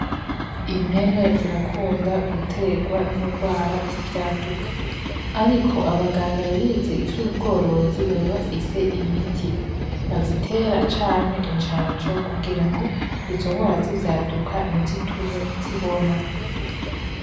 Impene zirakunda guterwa n'ingwara z'ivyaduka ,ariko abaganga bize ivy'ubworozi baba bafise imiti bazitera canke icanco kugirango izongwara z'ivyaduka ntizitume zihona .